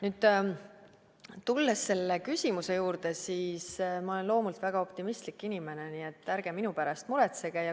Nüüd, tulles selle küsimuse juurde, siis ma olen loomult väga optimistlik inimene, nii et ärge minu pärast muretsege.